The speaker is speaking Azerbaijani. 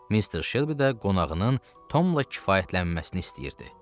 Mister Shelby də qonağının Tomla kifayətlənməsini istəyirdi.